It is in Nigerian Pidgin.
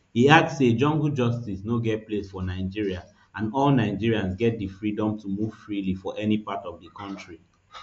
e add say jungle justice no get place for nigeria and all nigerians get di freedom to move freely for any part of di kontri